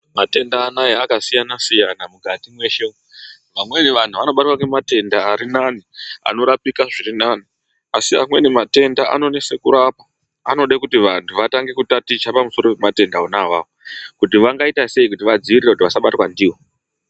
Matenda anaya akasiyana-siyana mukati mweshe, amweni antu anobatwe ngematenda arinani anorapika zvirinani, asi amweni matenda anonesa kurapa anodekuti vantu vatange kutaticha pamusana pematenda wona awawo kuti vangaita sei kuti vadzidzirire kuti vasabatwa ndiwo.